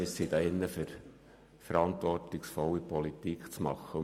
Wir sind hier, um verantwortungsvolle Politik zu machen.